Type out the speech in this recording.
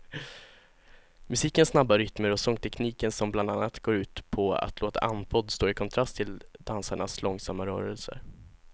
Musikens snabba rytmer och sångtekniken som bland annat går ut på att låta andfådd står i kontrast till dansarnas långsamma rörelser.